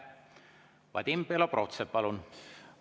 Vadim Belobrovtsev, palun!